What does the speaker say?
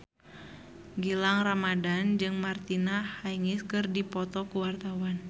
Gilang Ramadan jeung Martina Hingis keur dipoto ku wartawan